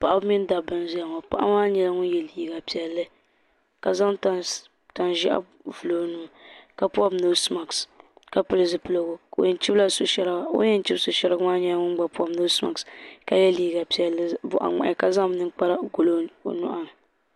Paɣa mini dabba n zaya ŋɔ paɣa maa yela liiga piɛlli ka zaŋ tan ʒehi vili o nuu la pobi noosi maaki ka pili zipiligu o yen chibila so sheriga o ni yen chibi so sheriga maa bobi noosi maaki ka ye liiga piɛlli boɣa ŋmahi ka zaŋ ninkpara n goli o nyuɣuni.